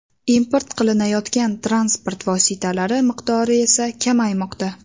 Import qilinayotgan transport vositalari miqdori esa kamaymoqda.